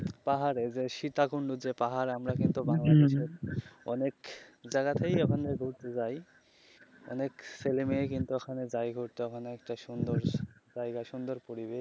পাহাড়ে যে সীতাকুণ্ড যে পাহাড় আমরা কিন্তু ওখানে অনেক জাগাতেই ঘুরতে যাই অনেক ছেলে মেয়ে কিন্তু ওখানে যায় ঘুরতে ওখানে একটা সুন্দর জায়গা সুন্দর পরিবেশ.